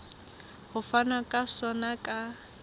ho fanwa ka sona ka